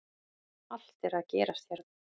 Allt er að gerast hérna!!